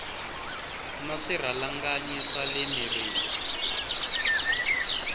na swirhalanganyi swa le mirini